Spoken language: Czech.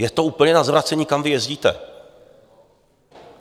Je to úplně na zvracení, kam vy jezdíte!